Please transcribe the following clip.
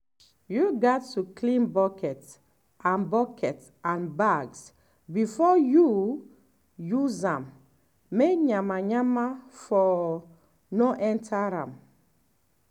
you gats clean buckets and buckets and bags before you um use am may yanmayanma for um no enter um am